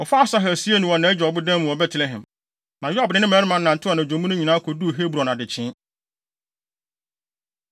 Wɔfaa Asahel siee no wɔ nʼagya ɔboda mu wɔ Betlehem. Na Yoab ne ne mmarima nantew anadwo mu no nyinaa koduu Hebron adekyee.